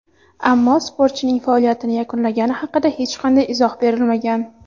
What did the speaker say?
Ammo sportchining faoliyatini yakunlagani haqida hech qanday izoh berilmagan.